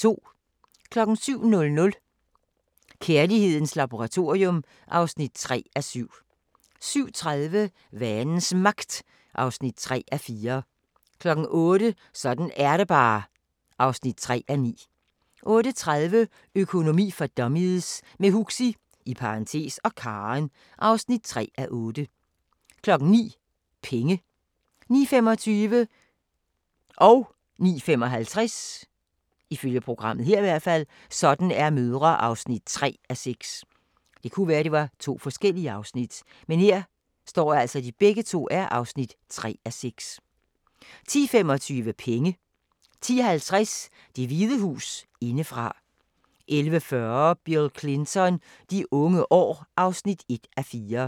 07:00: Kærlighedens laboratorium (3:7) 07:30: Vanens Magt (3:4) 08:00: Sådan er det bare (3:9) 08:30: Økonomi for dummies – med Huxi (og Karen) (3:8) 09:00: Penge 09:25: Sådan er mødre (3:6) 09:55: Sådan er fædre (3:6) 10:25: Penge 10:50: Det Hvide Hus indefra 11:40: Bill Clinton: De unge år (1:4)